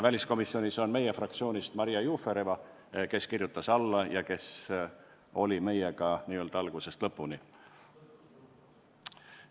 Väliskomisjonis on meie fraktsioonist Maria Jufereva, kes kirjutas avaldusele alla ja kes oli meiega n-ö algusest lõpuni.